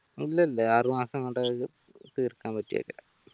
ഇല്ലില്ല ആറുമാസം തീർക്കാൻ പറ്റും